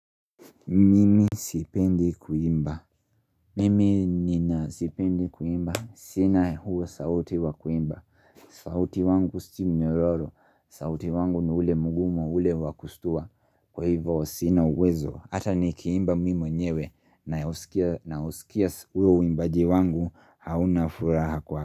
Mimi sipendi kuimba. Mimi nina sipendi kuimba. Sina huo sauti wakuimba. Sauti wangu si mnyororo. Sauti wangu ni ule mgumu ule wakustua. Kwa hivyo sina uwezo. Hata nikiimba mimi mwenyewe na husikia huo uimbaji wangu hauna furaha kwa.